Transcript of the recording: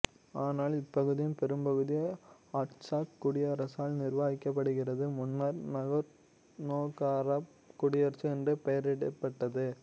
ஆனால் இப்பகுதியின் பெரும்பகுதி ஆர்ட்சாக் குடியரசால் நிர்வகிக்கப்படுகிறது முன்னர் நாகோர்னோகராபக் குடியரசு என்று பெயரிடப்பட்டது